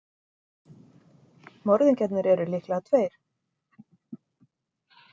Morðingjarnir eru líklega tveir.